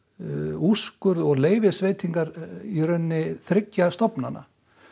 úrskurð og leyfisveitingar þriggja stofnana